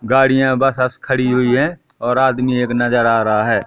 गाड़ियां बस वस खड़ी हुई हैं और आदमी एक नजर आ रहा है।